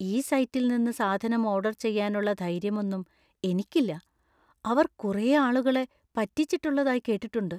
ഈ സൈറ്റിൽ നിന്ന് സാധനം ഓർഡർ ചെയ്യാനുള്ള ധൈര്യമൊന്നും എനിക്കില്ല; അവർ കുറെ ആളുകളെ പറ്റിച്ചിട്ടുള്ളതായി കേട്ടിട്ടുണ്ട്.